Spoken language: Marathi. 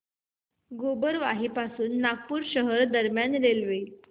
गोबरवाही पासून नागपूर शहर दरम्यान रेल्वे